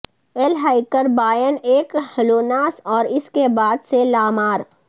L ہیکر باین ایک ھلوناس اور اس کے بعد سے لا مار